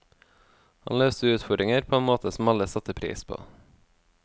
Han løste utfordringer på en måte som alle satte pris på.